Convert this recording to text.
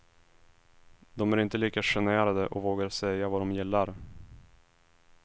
De är inte lika generade och vågar säga vad de gillar.